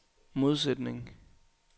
modsætning